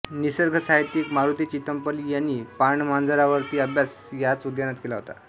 निसर्गसाहित्यीक मारुती चित्तमपल्ली यांनी पाणमांजरांवरती अभ्यास याच उद्यानात केला होता